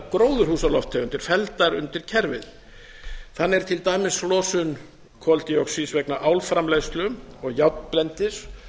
gróðurhúsalofttegundir felldar undir kerfið þannig er til dæmis losun koldíoxíðs vegna álframleiðslu og járnblendis